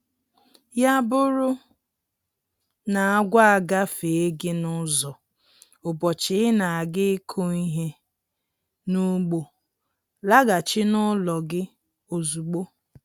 Ya bụrụ n'agwọ agafee gị n'ụzọ ụbọchị ị na-aga ịkụ ihe n'ugbo, laghachi n'ụlọ gị ozugbo